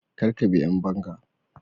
kar a bi ƴan banga